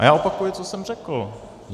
A já opakuji, co jsem řekl.